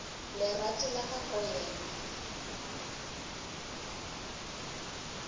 lerato la ka go yena